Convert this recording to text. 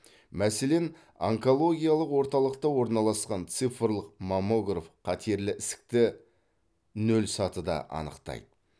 мәселен онкологиялық орталықта орналасқан цифрлық маммограф қатерлі ісікті нөл сатыда анықтайды